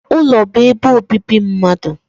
Ulo bu ebe obibi mmadu.